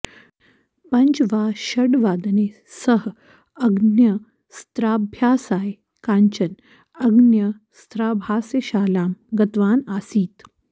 पञ्च वा षड् वादने सः अग्न्यस्त्राभ्यासाय काञ्चन अग्न्यस्त्राभ्यासशालां गतवान् आसीत्